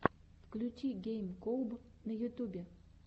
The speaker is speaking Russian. включи гейм коуб на ютубе